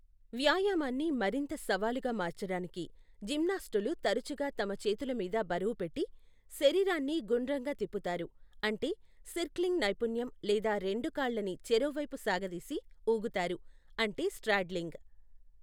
వ్యాయామాన్ని మరింత సవాలుగా మార్చడానికి, జిమ్నాస్టులు తరచుగా తమ చేతుల మీద బరువు పెట్టి, శరీరాన్ని గుండ్రంగా తిప్పుతారు అంటే సిర్క్లింగ్ నైపుణ్యం లేదా రెండు కాళ్ళని చెరోవైపు సాగదీసి ఊగుతారు అంటే స్ట్రాడ్లింగ్ .